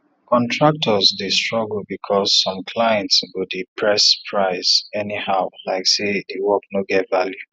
contractors dey struggle because some clients go dey press price anyhow like say the work no get value